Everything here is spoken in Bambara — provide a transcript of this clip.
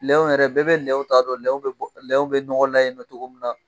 Lɛw yɛrɛ, bɛɛ bɛ lɛw t ta dɔn, lɛw bɛ ɲɔgɔn na yen cogo min na